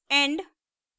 end